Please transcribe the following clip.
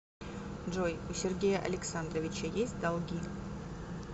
джой у сергея александровича есть долги